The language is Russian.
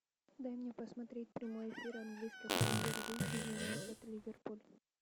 дай мне посмотреть прямой эфир английской премьер лиги юнайтед ливерпуль